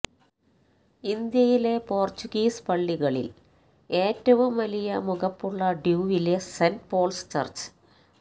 ഇന്ത്യയിലെ പോര്ച്ചുഗീസ് പള്ളികളില് ഏറ്റവും വലിയ മുഖപ്പുള്ള ഡ്യുവിലെ സെന്റ് പോള്സ് ചര്ച്ച്